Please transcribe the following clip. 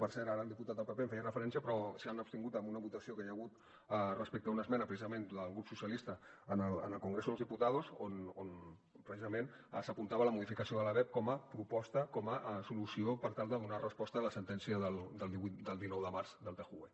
per cert ara el diputat del pp hi feia referència però s’han abstingut en una votació que hi ha hagut respecte a una esmena precisament del grup socialista en el congreso de los diputados on precisament s’apuntava a la modificació de la lebep com a proposta com a solució per tal de donar resposta a la sentència del dinou de març del tjue